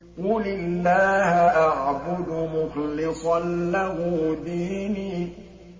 قُلِ اللَّهَ أَعْبُدُ مُخْلِصًا لَّهُ دِينِي